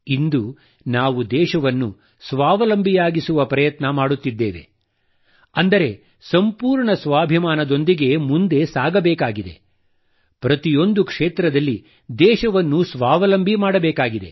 ಇಂದು ನಾವು ದೇಶವನ್ನು ಸ್ವಾವಲಂಬಿಯಾಗಿಸುವ ಪ್ರಯತ್ನ ಮಾಡುತ್ತಿದ್ದೇವೆ ಅಂದರೆ ಸಂಪೂರ್ಣ ಸ್ವಾಭಿಮಾನದೊಂದಿಗೆ ಮುಂದೆ ಸಾಗಬೇಕಿದೆ ಪ್ರತಿಯೊಂದು ಕ್ಷೇತ್ರದಲ್ಲಿ ದೇಶವನ್ನು ಸ್ವಾವಲಂಬಿ ಮಾಡಬೇಕಿದೆ